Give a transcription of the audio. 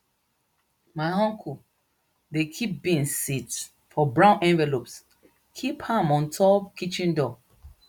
my uncle dey kip beans seeds for brown envelopes kip am on top kitchen door